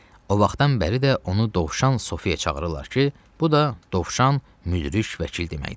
O vaxtdan bəri də onu Dovşan Sofiyə çağırırlar ki, bu da Dovşan Müdrik Vəkil deməkdir.